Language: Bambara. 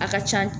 A ka ca